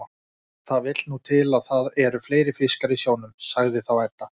Það vill nú til að það eru fleiri fiskar í sjónum, sagði þá Edda.